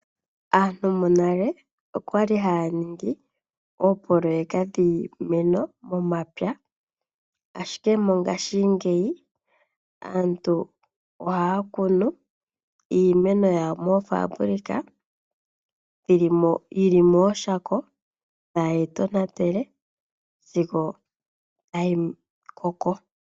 Aantu monale okwa li haya ningi oopoloyeka dhiimeno momapya ashike mongashingeyi, aantu ohaya kunu iimeno yawo moofaabulika yili mooshako, tayeyi tonatele sigo tayi koko.